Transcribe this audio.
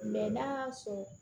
n'a y'a sɔrɔ